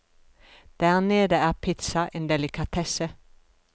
Der nede er pizza en delikatesse.